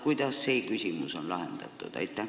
Kuidas on see küsimus lahendatud?